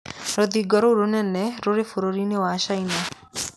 Rũthingo rũu rũnene rũrĩ bũrũri-inĩ wa China.